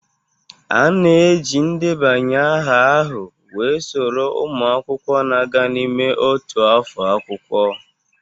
A na-eji ndebanye aha ahụ wee soro ụmụ akwụkwọ na-aga n'ime otu afọ akwụkwọ.